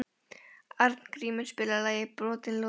Arngrímur, spilaðu lagið „Brotin loforð“.